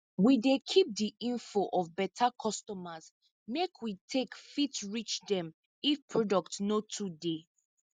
we dey keep di info of beta customers make we take fit reach dem if products no too dey